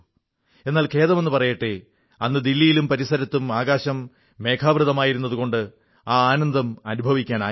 എന്നാൽ ഖേദമെന്നു പറയട്ടെ അന്ന് ദില്ലിയിലും പരിസരത്തും ആകാശം മേഘാവൃതമായിരുന്നതുകൊണ്ട് ആ ആനന്ദം അനുഭവിക്കാനായില്ല